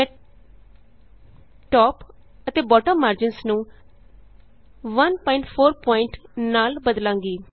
ਮੈਂ ਟੌਪ ਅਤੇ bottom margins ਨੂੰ 14ਪੀਟੀ ਨਾਲ ਬਦਲਾਂਗੀ